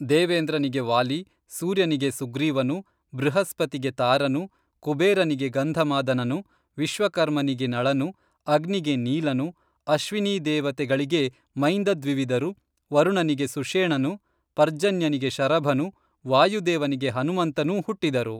ದೇವೇಂದ್ರನಿಗೆ ವಾಲಿ, ಸೂರ್ಯನಿಗೆ ಸುಗ್ರೀವನು, ಬೃಹಸ್ಪತಿಗೆ ತಾರನು, ಕುಬೇರನಿಗೆ ಗಂಧಮಾದನನು, ವಿಶ್ವಕರ್ಮನಿಗೆ ನಳನು, ಅಗ್ನಿಗೆ ನೀಲನು, ಅಶ್ವಿನೀದೇವತೆಗಳಿಗೆ ಮೈಂದದ್ವಿವಿದರು, ವರುಣನಿಗೆ ಸುಷೇಣನು, ಪರ್ಜನ್ಯನಿಗೆ ಶರಭನು, ವಾಯುದೇವನಿಗೆ ಹನುಮಂತನೂ, ಹುಟ್ಟಿದರು